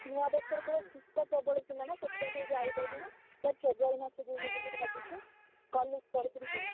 ନୂଆବର୍ଷରେ ପୁରା ଶୀତ ପ୍ରବଳ ଥିଲା ନା ସେଥିପାଇଁ ଯାଇପାରିଲୁନି February ମାସରେ ଯିବୁ ବୋଲି ଭାବୁଛୁ college ତରଫରୁ ଯିବା।